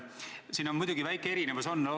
Siin muidugi väike erinevus on.